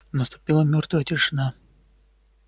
наступила мёртвая тишина